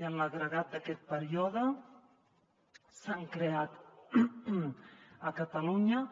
i en l’agregat d’aquest període s’han creat a catalunya